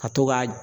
Ka to ka